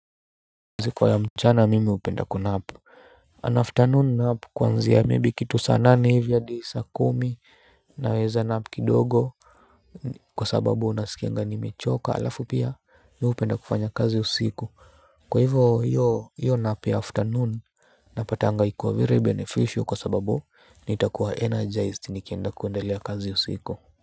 Kazi kwa ya mchana mimi upenda ku nap An afternoon nap kwanzia maybe kuanzia saa nane hadi saa kumi naweza nap kidogo. Kwa sababu unaskianga ni mechoka alafu pia mi upenda kufanya kazi usiku. Kwa hivo hiyo nap ya afternoon napatanga iko very beneficial kwa sababu nitakuwa energized nikienda kuendelea kazi usiku. Kwa hivyo.